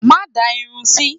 Má da irun sí!